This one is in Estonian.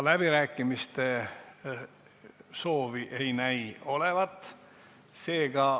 Ka kõnesoove ei näi olevat.